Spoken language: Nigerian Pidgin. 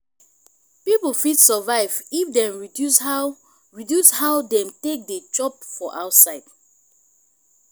pipo fit survive if dem reduce how reduce how dem take dey chop for outside